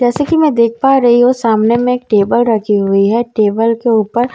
जैसे की मैं देख पा रही हूँ सामने में एक टेबल रखी हुई है टेबल के ऊपर मार्वल --